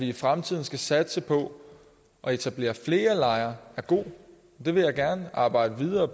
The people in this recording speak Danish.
i fremtiden satse på at etablere flere lejre er god og det vil jeg gerne arbejde videre